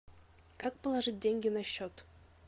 как положить деньги на счет